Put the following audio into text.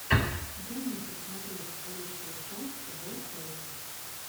дай мне посмотреть лучшую часть ворфэйс